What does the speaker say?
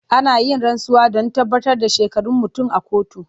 Ana yin rantsuwa don tabbatar da shekarun mutum a kotu.